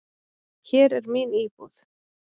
Hér er mín íbúð!